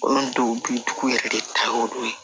Olu dɔw bi dugu yɛrɛ de ta y'o de ye